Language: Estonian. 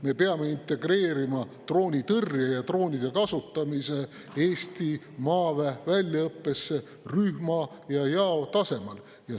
Me peame integreerima droonitõrje ja droonide kasutamise Eesti maaväe väljaõppesse rühma ja jao tasemel.